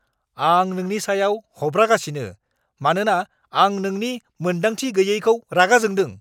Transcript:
आं नोंनि सायाव हब्रागासिनो मानोना आं नोंनि मोनदांथि गैयैखौ रागा जोंदों।